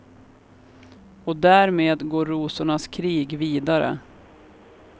Och därmed går rosornas krig vidare.